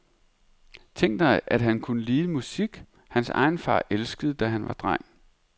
Tænk dig at han kunne lide musik, hans egen far elskede, da han var dreng.